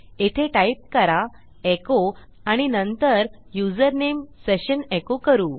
येथे टाईप करा एचो आणि नंतर युजरनेम सेशन एको करू